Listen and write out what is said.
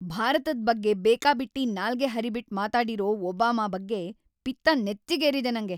ಭಾರತದ್ ಬಗ್ಗೆ‌ ಬೇಕಾಬಿಟ್ಟಿ ನಾಲ್ಗೆ ಹರಿಬಿಟ್ಟ್‌ ಮಾತಾಡಿರೋ ಒಬಾಮಾ ಬಗ್ಗೆ ಪಿತ್ತ ನೆತ್ತಿಗೇರಿದೆ ನಂಗೆ.